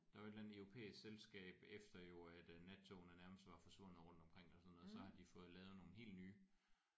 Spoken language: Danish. Der er jo et eller andet europæisk selvskab efter jo at nattogene nærmest var forsvundet rundt omkring eller sådan noget så har de fået lavet nogle helt nye